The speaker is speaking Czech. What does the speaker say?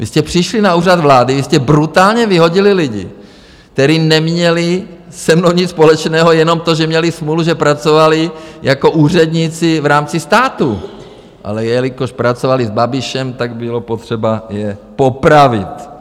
Vy jste přišli na Úřad vlády, vy jste brutálně vyhodili lidi, kteří neměli se mnou nic společného, jenom to, že měli smůlu, že pracovali jako úředníci v rámci státu, ale jelikož pracovali s Babišem, tak bylo potřeba je popravit.